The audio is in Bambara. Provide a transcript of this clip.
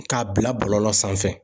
K'a bila bɔlɔlɔ sanfɛ